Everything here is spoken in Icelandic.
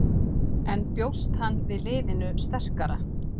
En bjóst hann við liðinu sterkara?